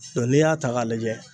dɔ n'i y'a ta k'a lajɛ